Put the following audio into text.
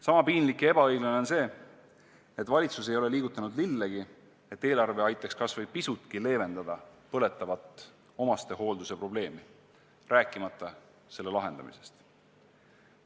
Sama piinlik ja ebaõiglane on see, et valitsus ei ole liigutanud lillegi, et eelarve aitaks kas või pisutki leevendada põletavat omastehoolduse probleemi, rääkimata selle lahendamisest.